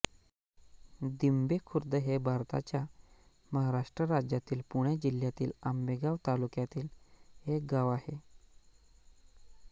दिंभे खुर्द हे भारताच्या महाराष्ट्र राज्यातील पुणे जिल्ह्यातील आंबेगाव तालुक्यातील एक गाव आहे